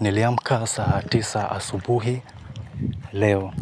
Niliamka saa tisa asubuhi leo